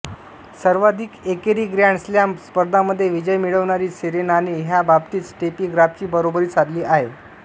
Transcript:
सर्वाधिक एकेरी grand slam स्पर्धांमध्ये विजय मिळवणारी सेरेनाने ह्या बाबतीत स्टेफी ग्राफची बरोबरी साधली आहे